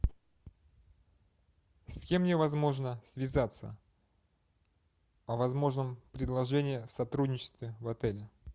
с кем мне возможно связаться о возможном предложение о сотрудничестве в отеле